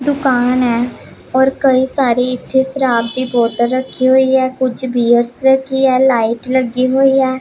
ਦੁਕਾਨ ਹੈ ਔਰ ਕਈ ਸਾਰੇ ਇਥੇ ਸ਼ਰਾਬ ਦੀ ਬੋਤਲ ਰੱਖੀ ਹੋਈ ਆ ਕੁਝ ਬੀਅਰਸ ਰੱਖੀ ਹੈ ਲਾਈਟ ਲੱਗੇ ਹੋਈ ਹੈ।